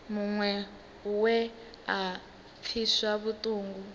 muṅwe we a pfiswa vhuṱungu